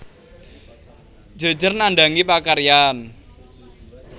Jejer nandhangi pakaryan